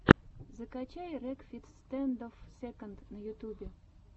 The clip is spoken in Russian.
закачай рекфиц стэндофф сэконд на ютюбе